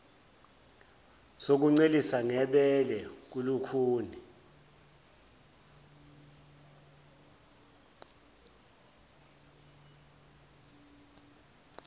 sokuncelisa ngebele kulukhuni